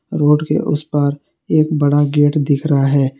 Road के उस पार एक बड़ा गेट दिख रहा है।